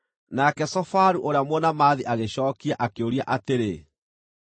Nake Zofaru ũrĩa Mũnaamathi agĩcookia, akĩũria atĩrĩ: